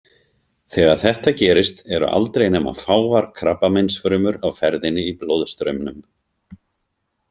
Þegar þetta gerist eru aldrei nema fáar krabbameinsfrumur á ferðinni í blóðstraumnum.